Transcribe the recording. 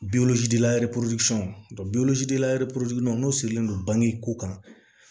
n'o sirilen don bange ko kan